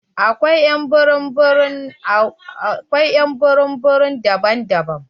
Akwai ƴ'an burum burum daban-daban